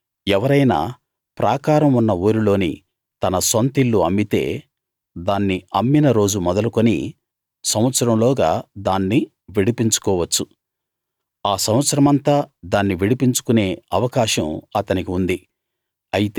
ఎవరైనా ప్రాకారం ఉన్న ఊరిలోని తన సొంతిల్లు అమ్మితే దాన్ని అమ్మిన రోజు మొదలుకుని సంవత్సరంలోగా దాన్ని విడిపించుకోవచ్చు ఆ సంవత్సరమంతా దాన్ని విడిపించుకునే అవకాశం అతనికి ఉంది